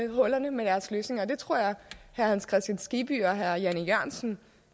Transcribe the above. hullerne med deres løsninger og det tror jeg at herre hans kristian skibby og herre jan e jørgensen